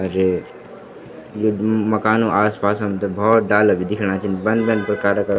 अर ये ये मकानो आस पास हमथे भौत डाला भी दिख्येणा छिन बन बन प्रकारा का।